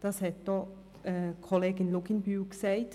Dies hat auch Kollegin Luginbühl gesagt.